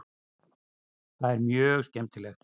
Það er mjög skemmtilegt.